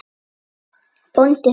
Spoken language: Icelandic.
BÓNDI: Þú?